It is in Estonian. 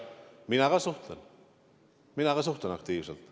Mina ka suhtlen, mina ka suhtlen aktiivselt.